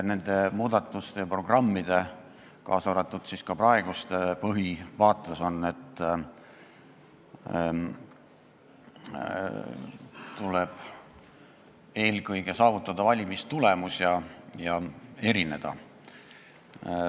Nende muudatuste ja programmide, kaasa arvatud praeguste programmide põhivaates on see, et tuleb eelkõige saavutada valimistulemus ja erineda.